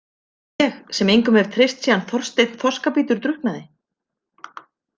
Ég sem engum hef treyst síðan Þorsteinn þorskabítur drukknaði.